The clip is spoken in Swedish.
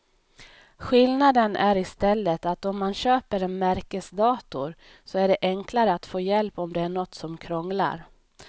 Skillnaden är i stället att om man köper en märkesdator så är det enklare att få hjälp om det är något som krånglar.